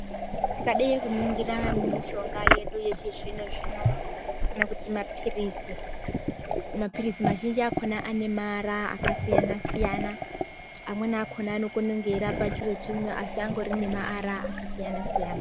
Tikadai kuringira mishonga yedu yechizvino-zvino, tinoona kuti maphiritsi akhona ane maara akasiyana siyana. Amweni akhona anokone kunge echirapa chiro chimwe, asi angori nemaara akasiyana-siyana.